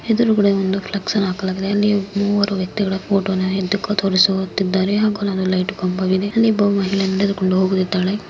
ಎದುರು ಕಡೆ ಒಂದು ಫ್ಲೆಕ್ಸ್ನ್ನು ಹಾಕಲಾಗಿದೆ ಅಲ್ಲಿ ಮುವರು ವ್ಯಕ್ತಿಗಳ ಫೋಟೋ ಅನ್ನು ದುಃಖ ತೋರಿಸುತ್ತಿದ್ದಾರೆ ಹಾಗೂ ಲೈಟ್ ಕಂಬ ಇದೆ ಒಬ್ಬ ಮಹಿಳೆ ನಡೆದು ಹೋಗತಿದಾಳೆ.